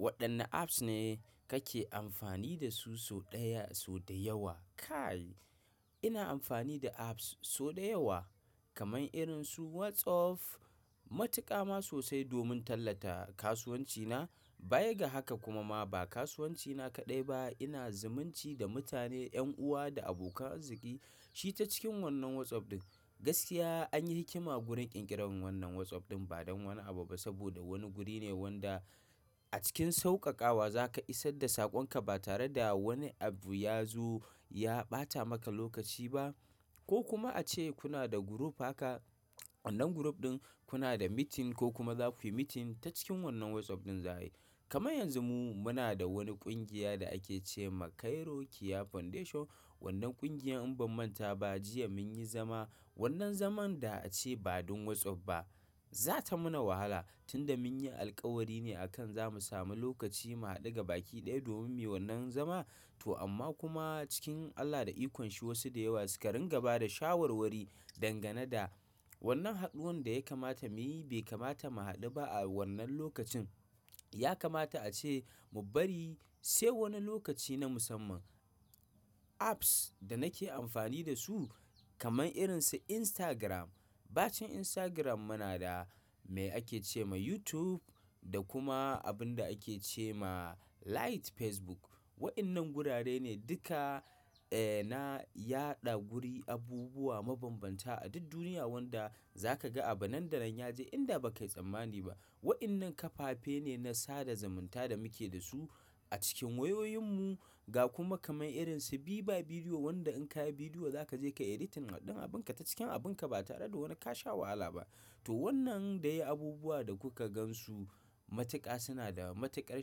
Waɗanni apps ne kake amfani da su sau ɗaya, sau da yawa? Kai, ina amfani da apps sau da yawa kamar irin su WhatsApp. Matuƙama sosai domin tallata kasuwancina. Bayaga haka kuma ma ba kasuwancina kaɗai ba, ina zumunci da mutane, 'yan uwa da abokan arziki. Shi ta cikin wannan WhatsApp ɗin. Gaskiya an yi hikima wurin ƙirƙirar wannan WhatsApp ɗin ba don wani abu ba saboda wani guri ne wanda a cikin sauƙaƙawa za ka isar da saƙonka ba tare da wani abu ya zo ya ɓata maka lokaci ba. Ko kuma a ce kuna da group haka, wannan group ɗin kuna da meeting ko kuma za ku yi meeting ta cikin wannan WhatsApp ɗin za a yi. Kama yanzu mu muna da wani ƙungiya da ake ce ma Cairo Kia Foundation. Wannan ƙungiyar in ban manta ba, jiya mun yi zama. Wannan zaman da ace badan Whatsapp ba za ta mana wahala tunda munyi alkawari ne zamu samu lokaci domin muyi wannan zama to amma kuma cikin Allah da ikon shi wasu da yawa suka ringa ba da shawarwari dangane da wannan haɗuwan da ya kamata muyi bai kamata mu haɗu ba a wannan lokacin. Ya kamata a ce mu bari sai wani lokaci na musamman. Apps da nake amfani da su kamar irin su Instagram, bacin Instagram muna da me ake ce ma YouTube da kuma abun da ake ce ma Lite Facebook. Waɗannan wurare ne duka, eh, na yaɗa guri abubuwa mabanbanta a duk duniya wanda za ka ga a banɗaran yaje inda ba ka yi tsammani ba. Waɗannan kafafe ne na sada zumunta da muke da su a cikin wayoyin mu ga kuma kamar irin su Viva Video wanda in ka yi bidiyo za ka je ka editing haɗin abinka ta cikin abinka ba tare da wani ka sha wahala ba. To wannan dai abubuwa da kuka gan su matuƙa suna da matuƙar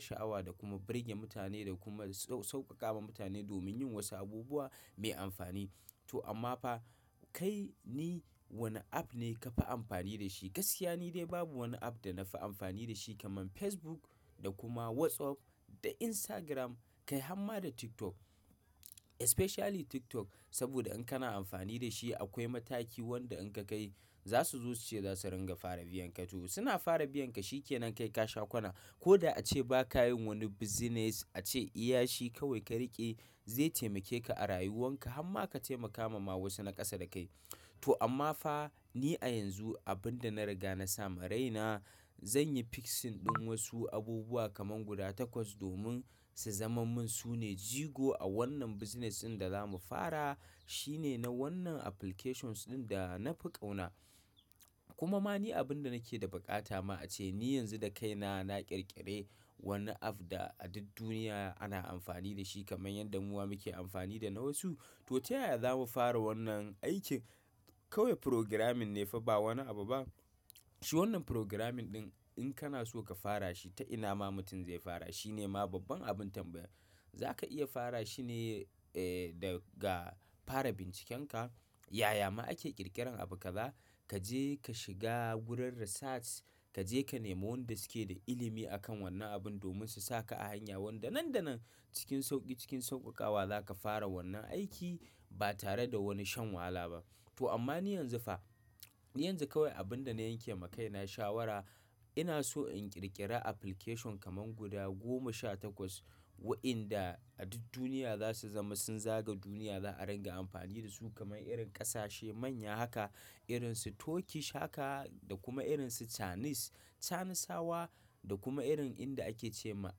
sha'awa da kuma birge mutane da kuma sauƙaƙawa mutane domin yin wasu abubuwa mai amfani. To amma fa kai ni wane app ne ka fi amfani da shi? Gaskiya ni dai babu wani app da na fi amfani da shi kamar Facebook da kuma WhatsApp da Instagram, kai amma da TikTok. Especially TikTok saboda in kana amfani da shi akwai mataki wanda in ka kai za su zo su ce za su ringa fara biyan ka. To suna fara biyan ka shi ke nan kai ka sha kwana. Ko da a ce ba ka yin wani business, a ce iyashi kawai ka riƙe zai taimake ka arayuwanka hamma ka taimaka ma wasu na ƙasa da kai to amma fa ni a yanzu abinda na riga nasama raina zanyi fixing din wasu abubuwa kamar guda takwas domin su zaman mun sune jigo awannan business din da zamu fara shine na wannan applications din da nafi qauna kuma ma ni abin da nake da baƙata ma a ce ni yanzu da kaina na ƙirƙire wani app da a duk duniya ana amfani da shi kamar yadda mu muke amfani da na wasu. To ta yaya za mu fara wannan aikin? Kawai programming ne fa ba wani abu ba. Shi wannan programming ɗin in kana so ka fara shi ta ina ma mutum zai fara shi ne ma babban abin tambaya. Za ka iya fara shi ne, eh, daga fara bincikenka. Yaya ma ake ƙirƙirar abu? Kaza ka je ka shiga wurin research, ka je ka nemo wanda suke da ilimi a kan wannan abun domin su saka a hanya wanda nan da nan cikin sauƙi cikin sauƙaƙawa za ka fara wannan aiki ba tare da wani shan wahala ba. To amma ni yanzu fa, yanzu kawai abin da na yanke ma kaina shawara, ina so in ƙirƙira application kamar guda goma sha takwas waɗanda a duk duniya za su zama sun zaga duniya za a ringa amfani da su kamar irin ƙasashe manya haka, irin su Turkish haka da kuma irin su Chinese, Chineseawa da kuma irin inda ake ce ma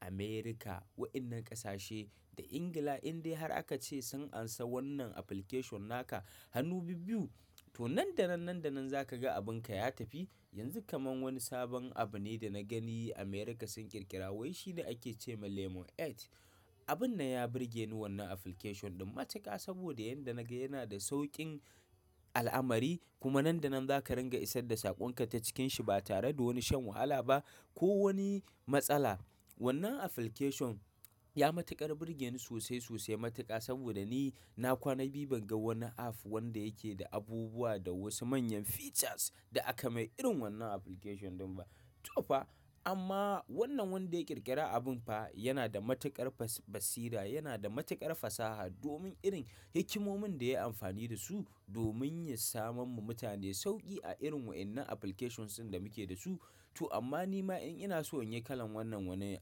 America. Waɗannan ƙasashe da England indai har aka ce sun ansa wannan application naka hannu bibiyu. To nan da nan, nan da nan za ka ga abinka ya tafi. Yanzu kamar wani sabon abu ne da na gani America sun ƙirƙira wai shi ne ake ce ma Lemon 8. Abun nan ya birge ni wannan application ɗin matuƙa saboda yanda naga yana da sauƙin al'amari kuma nan da nan za ka ringa isar da saƙonka ta cikin shi ba tare da wani shan wahala ba ko wani matsala. Wannan application ya matuƙar birge ni sosai, sosai matuƙa saboda ni na kwana biyu ban ga wani app wanda yake da abubuwa da wasu manyan features da aka mai irin wannan application ɗin ba. To fa amma wannan wanda ya ƙirƙira abun fa yana da matuƙar basira, yana da matuƙar fasaha domin irin himmamun da ya yi amfani da su domin ya samon mu mutane sauƙi a irin waɗannan applications ɗin da muke da su. To amma ni ma in ina so in yi kalan wannan wani app.